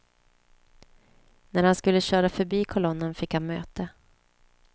När han skulle köra förbi kolonnen fick han möte.